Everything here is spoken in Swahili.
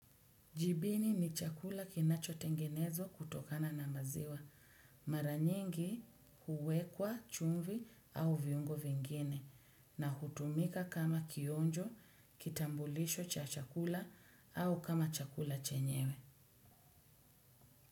Jibini ni chakula kinachotengenezwa kutokana na maziwa. Mara nyingi huwekwa chumvi au viungo vingine na hutumika kama kionjo, kitambulisho cha chakula au kama chakula chenyewe.